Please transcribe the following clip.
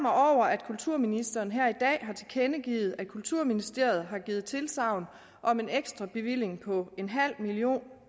at kulturministeren her i dag har tilkendegivet at kulturministeriet har givet tilsagn om en ekstra bevilling på en halv million